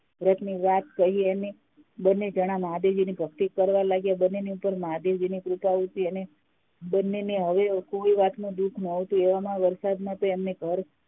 વ્રત ની વાત કરી અને બંને જન મહાદેવજી ની ભક્તિ કરવા લાગ્યા બંને ની ઉપર મહાદેવજીની કૃપા હતી અને બંને ને હવે કોઈ વાત નું દુઃખ ન હતું એવામાં તો વરસાદ માં તો એમને ઘર